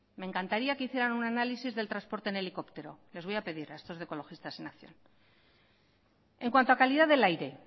me encantaría que hicieran un análisis del transporte en helicóptero les voy a pedir a estos de ecologistas en acción en cuanto a calidad del aire